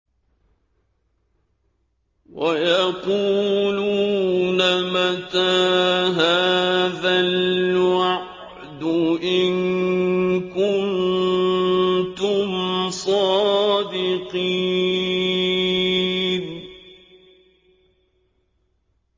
وَيَقُولُونَ مَتَىٰ هَٰذَا الْوَعْدُ إِن كُنتُمْ صَادِقِينَ